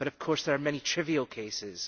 But of course there are many trivial cases.